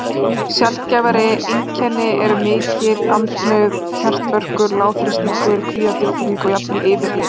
Sjaldgæfari einkenni eru mikil andnauð, hjartverkur, lágþrýstingur, kvíðatilfinning og jafnvel yfirlið.